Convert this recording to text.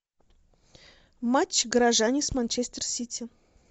матч горожане с манчестер сити